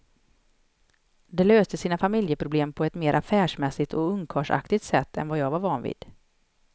De löste sina familjeproblem på ett mer affärsmässigt och ungkarlsaktigt sätt än jag var van vid.